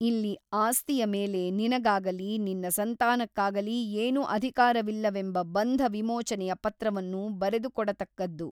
ಇಲ್ಲಿ ಆಸ್ತಿಯ ಮೇಲೆ ನಿನಗಾಗಲಿ ನಿನ್ನ ಸಂತಾನಕ್ಕಾಗಲಿ ಏನೂ ಅಧಿಕಾರವಿಲ್ಲವೆಂಬ ಬಂಧ ವಿಮೋಚನೆಯ ಪತ್ರವನ್ನು ಬರೆದುಕೊಡತಕ್ಕದ್ದು.